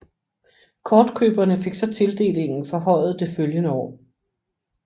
Kortkøberne fik så tildelingen forhøjet det følgende år